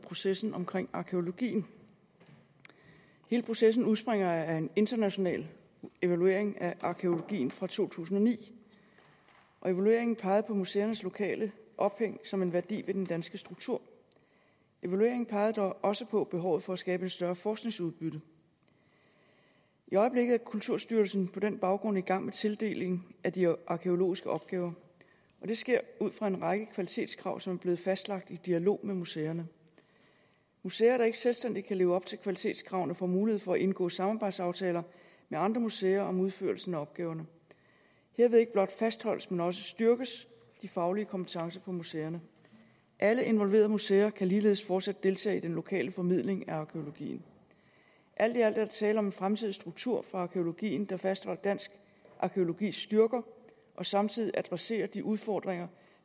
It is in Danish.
processen omkring arkæologien hele processen udspringer af en international evaluering af arkæologien fra to tusind og ni evalueringen pegede på museernes lokale ophæng som en værdi ved den danske struktur evalueringen pegede dog også på behovet for at skabe et større forskningsudbytte i øjeblikket er kulturstyrelsen på den baggrund i gang med tildeling af de arkæologiske opgaver og det sker ud fra en række kvalitetskrav som er blevet fastlagt i dialog med museerne museer der ikke selvstændigt kan leve op til kvalitetskravene får mulighed for at indgå samarbejdsaftaler med andre museer om udførelsen af opgaverne herved ikke blot fastholdes men også styrkes de faglige kompetencer på museerne alle involverede museer kan ligeledes fortsat deltage i den lokale formidling af arkæologien alt i alt er der tale om en fremtidig struktur for arkæologien der fastholder dansk arkæologis styrker og samtidig adresserer de udfordringer